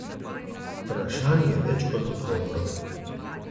Vprašanj je več kot odgovorov.